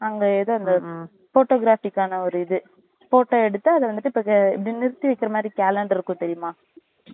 அங்க இந்த எதோ photographic க்கான ஒரு இது photo எடுத்து அத வந்துட்டு இப்ப நிறுத்தி வைக்குற மாறி calendar இருக்கும் தெரியுமா